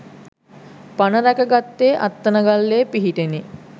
පණ රැක ගත්තේ අත්තනගල්ලේ පිහිටෙනි.